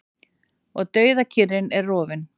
Og dauðakyrrðin er rofin.